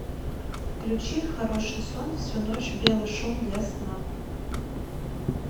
включи хороший сон всю ночь белый шум для сна